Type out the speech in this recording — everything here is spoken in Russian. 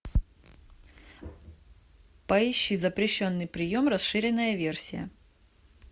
поищи запрещенный прием расширенная версия